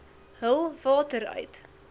hul water uit